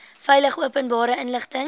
veilig openbare inligting